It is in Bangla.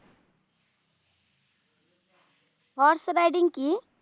horse riding কি?